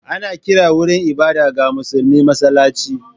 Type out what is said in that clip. Ana kiran wurin ibada ga musulmi masallaci.